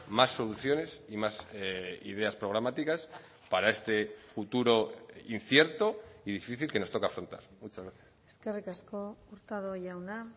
más soluciones y más ideas programáticas para este futuro incierto y difícil que nos toca afrontar muchas gracias eskerrik asko hurtado jauna